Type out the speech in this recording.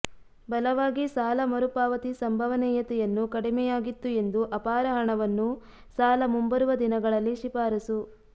ಬಲವಾಗಿ ಸಾಲ ಮರುಪಾವತಿ ಸಂಭವನೀಯತೆಯನ್ನು ಕಡಿಮೆಯಾಗಿತ್ತು ಎಂದು ಅಪಾರ ಹಣವನ್ನು ಸಾಲ ಮುಂಬರುವ ದಿನಗಳಲ್ಲಿ ಶಿಫಾರಸು